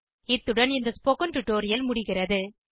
இத்துடன் இந்த spoken tutorial முடிகிறது